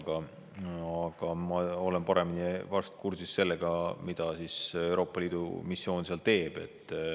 Ma olen vast paremini kursis sellega, mida Euroopa Liidu missioon seal teeb.